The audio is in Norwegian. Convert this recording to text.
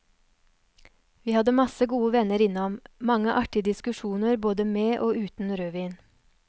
Vi hadde masse gode venner innom, mange artige diskusjoner både med og uten rødvin.